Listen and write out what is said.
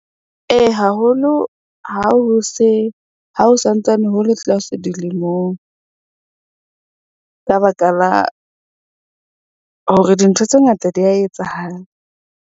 Ee, haholo ha ho se ha ho santsane ho le tlase dilemong ka baka la hore dintho tse ngata di ya etsahala.